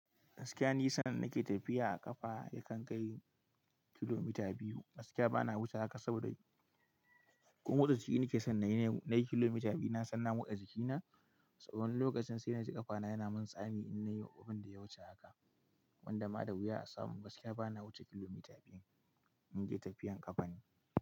Gaskiya ni sanar nake tafiya a ƙafa yakan kai kilomita biyu. Gaskiya bana wuce haka saboda ko motsajiki nake san na yi kilomita biyu, na san na mutsa jikina. Tsawon lokacin sai na ji ƙafana yana min tsami in nayi abinda ya wuce haka wanda ma da wuya a samu. Gaskiya bana wuce kilomita biyu in yi tafiyar ƙafa ne.